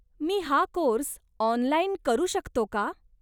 मी हा course online करू शकतो का?